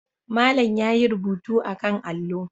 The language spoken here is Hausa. Malam yayi rubutu akan allo.